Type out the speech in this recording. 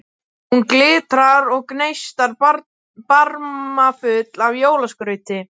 Hún glitrar og gneistar, barmafull af jólaskrauti.